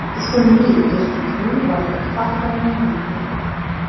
ismli erkakning vafoti haqida ma’lumot berdi .